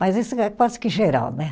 Mas isso é quase que geral, né?